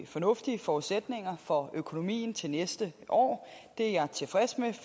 fornuftige forudsætninger for økonomien til næste år det er jeg tilfreds med